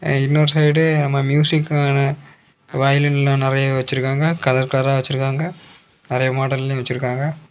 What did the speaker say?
இன்னொரு சைடு நம்ம மியூசிக்கான வயலின்லா நெறைய வெச்சிருக்காங்க கலர் கலரா வெச்சிருக்காங்க நெறைய மாடல்லயு வெச்சிருக்காங்க.